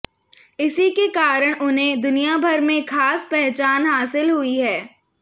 इसी के कारण उन्हें दुनियाभर में खास पहचान हासिल हुई है